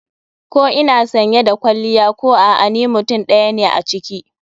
Ko ina sanye da kwalliya ko a'a ni mutum ɗaya ne a ciki.